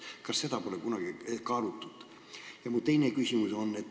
Kas seda pole kunagi kaalutud?